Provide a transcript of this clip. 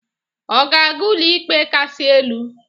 Ọ ga-aga Ụlọikpe Kasị Elu?